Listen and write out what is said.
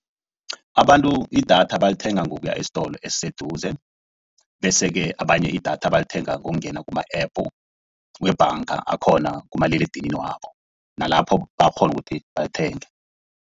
Abantu idatha balithenga ngokuya esitolo esiseduze, bese-ke abanye idatha balithenga ngokungena kuma-App webhanga akhona kumaliledinini wabo. Nalapho bayakghona ukuthi balithenge.